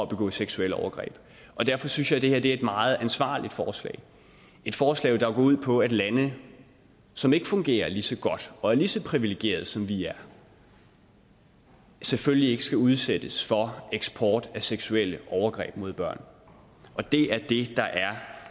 begå seksuelle overgreb derfor synes jeg det her er et meget ansvarligt forslag et forslag der går ud på at lande som ikke fungerer lige så godt og er lige så privilegerede som vi er selvfølgelig ikke skal udsættes for eksport af seksuelle overgreb mod børn og det er det der er